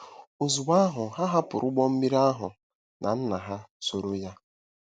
“ Ozugbo ahụ, ha hapụrụ ụgbọ mmiri ahụ na nna ha, sooro ya .”— Mat.